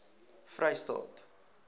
vrystaat